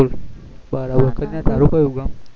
બરોબર તારું કયું ગામ